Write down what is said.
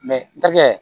dakɛ